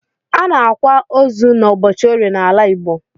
Anaakwa osu na ụbọchi orie na ala igbo.